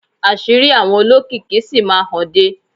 Àṣírí àwọn olókìkí sì máa hànde.